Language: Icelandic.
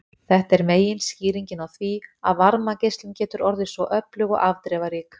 Þetta er meginskýringin á því að varmageislun getur orðið svo öflug og afdrifarík.